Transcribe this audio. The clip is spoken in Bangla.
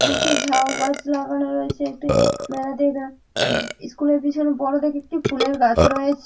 দুটি ঝাউ গাছ লাগানো রয়েছে একটি । ইস্কুল - এর পেছনে একটি বড় দেখে ফুলের গাছ রয়েছ--